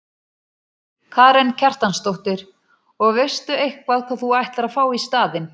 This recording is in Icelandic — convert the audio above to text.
Karen Kjartansdóttir: Og veistu eitthvað hvað þú ætlar að fá í staðinn?